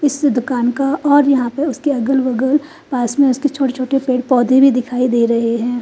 इस दुकान का और यहाँ पर उसके अगल बगल पास में उसके छोटे छोटे पेड़ पौधे भी दिखाई दे रहे है।